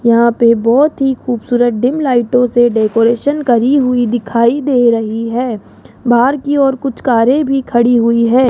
यहां पे बहोत ही खूबसूरत डिम लाइटों से डेकोरेशन करी हुई दिखाई दे रही है बाहर की ओर कुछ कारें भी खड़ी हुई है।